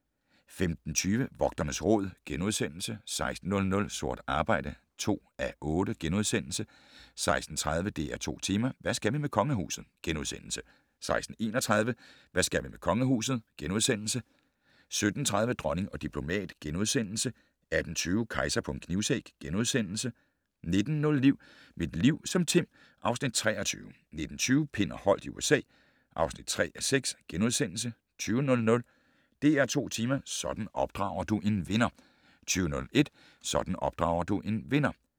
15:20: Vogternes Råd * 16:00: Sort arbejde (2:8)* 16:30: DR2 Tema: Hvad skal vi med kongehuset? * 16:31: Hvad skal vi med kongehuset? * 17:30: Dronning og diplomat * 18:20: Kejser på en knivsæg * 19:05: Mit liv som Tim (Afs. 23) 19:20: Pind og Holdt i USA (3:6)* 20:00: DR2 Tema: Sådan opdrager du en vinder 20:01: Sådan opdrager du en vinder